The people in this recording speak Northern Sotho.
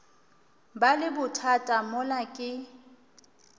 ba le bothata mola ke